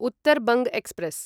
Uttar Banga express